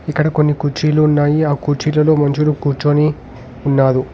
ఇక్కడ కొన్ని కుర్చీలు ఉన్నాయి ఆ కుర్చీలలో మనుషులు కూర్చొని ఉన్నాడు.